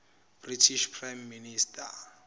british prime minister